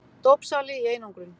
Dópsali í einangrun.